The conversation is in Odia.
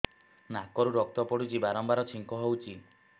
ନାକରୁ ରକ୍ତ ପଡୁଛି ବାରମ୍ବାର ଛିଙ୍କ ହଉଚି